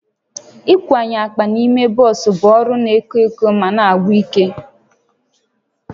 Ịkwanye akpa n'ime bọs bụ ọrụ na-ekwo ekwo ma na-agwụkwa ike